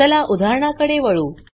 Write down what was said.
चला उदाहरणा कडे वळू